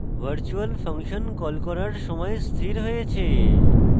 virtual function call করার সময় স্থির হয়েছে